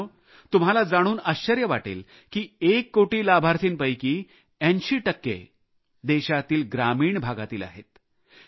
मित्रांनो तुम्हाला जाणून आश्चर्य वाटेल की एक कोटी लाभार्थींपैकी 80 टक्के लाभार्थी देशातील ग्रामीण भागातील आहेत